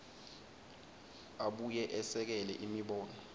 abuye esekele imibono